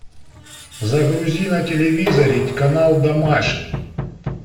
загрузи на телевизоре канал домашний